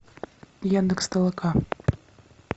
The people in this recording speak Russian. яндекс толока